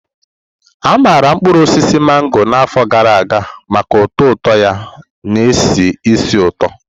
A maara mkpuru osisi mango na afọ gara aga maka ụtọ ụtọ ya na-esi ísì ụtọ.